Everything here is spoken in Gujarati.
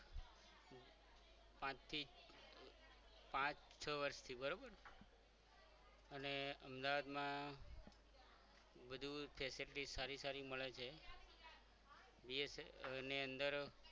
છ વર્ષ બરાબર અને અમદાવાદમાં વધુ facilities સારી સારી મળે છે બી એસ ની અંદર